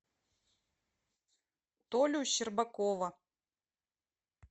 толю щербакова